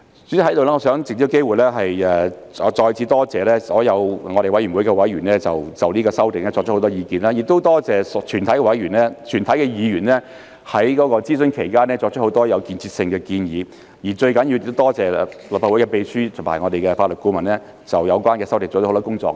主席，我想藉此機會，再次多謝我們委員會的所有委員就這次修訂提出很多意見，亦多謝全體議員在諮詢期間提出很多有建設性的建議，而最重要的是多謝立法會的秘書和我們的法律顧問就有關修訂做了很多工作。